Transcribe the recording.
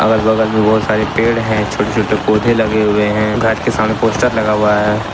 अगल बगल में बहुत सारे पेड़ है छोटे छोटे पौधे लगे हुए हैं घर के सामने पोस्टर लगा हुआ है।